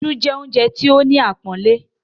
“Isu” jẹ́ oúnjẹ tí ó ní àpọ́nlé.